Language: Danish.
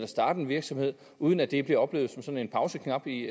starte en virksomhed uden at det bliver oplevet som en pauseknap i